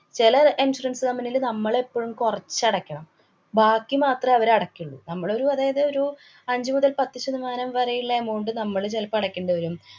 ചെല insurance company ല് നമ്മള് എപ്പോഴും കുറച്ചടയ്കണം. ബാക്കി മാത്രെ അവരടയ്ക്കുള്ളൂ. നമ്മളൊരു അതായത് ഒരു അഞ്ചു മുതല്‍ പത്ത് ശതമാനം വരെയുള്ള amount നമ്മള് ചെലപ്പോ അടയ്ക്കേണ്ടി വരും.